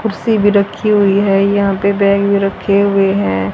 कुर्सी भी रखी हुई है यहां पे बैग भी रखे हुए हैं।